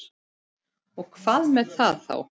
Og hvað með það þá?